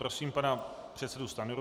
Prosím pana předsedu Stanjuru.